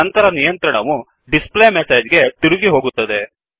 ನಂತರ ನಿಯಂತ್ರಣವುdisplayMessageಡಿಸ್ ಪ್ಲೇ ಮೆಸೆಜ್ ಗೆ ತಿರುಗಿ ಹೋಗುತ್ತದೆ